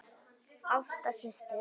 Ásta systir.